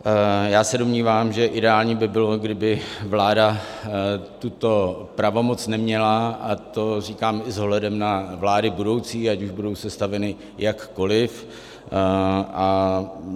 Já se domnívám, že ideální by bylo, kdyby vláda tuto pravomoc neměla, a to říkám i s ohledem na vlády budoucí, ať už budou sestaveny jakkoliv.